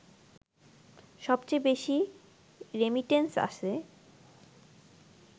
সবচেয়ে বেশি রেমিটেন্স আসে